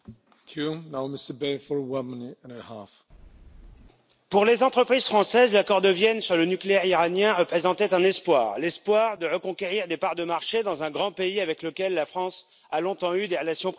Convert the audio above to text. Monsieur le Président, pour les entreprises françaises, l'accord de Vienne sur le nucléaire iranien représentait un espoir, celui de reconquérir des parts de marché dans un grand pays avec lequel la France a longtemps eu des relations privilégiées.